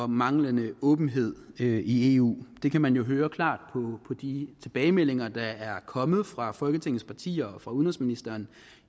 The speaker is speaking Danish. manglende åbenhed i eu det kan man høre klart på de tilbagemeldinger der er kommet fra folketingets partier og fra udenrigsministeren